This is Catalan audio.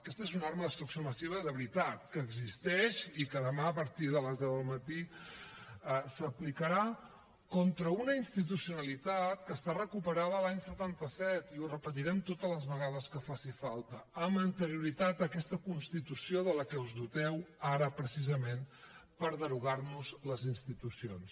aquesta és una arma de destrucció massiva de veritat que existeix i que demà a partir de les deu del matí s’aplicarà contra una institucionalitat que està recuperada de l’any setanta set i ho repetirem totes les vegades que faci falta amb anterioritat a aquesta constitució de la que us doteu ara precisament per derogar nos les institucions